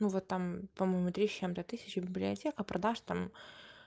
ну вот там по-моему три с чем-то тысячи библиотека продаж там